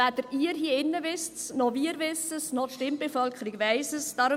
Weder Sie hier in diesem Saal noch wir wissen es, und auch die Stimmbevölkerung weiss es nicht.